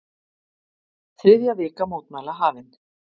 Þriðja vika mótmæla hafin